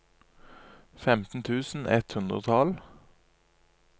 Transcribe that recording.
femten tusen ett hundre og tolv